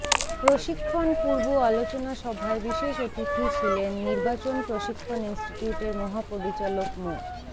প্রশিক্ষণ পূর্ব আলোচনা সভায় বিশেষ অতিথি ছিলেন নির্বাচন প্রশিক্ষণ ইনস্টিটিউটের মহাপরিচালক মো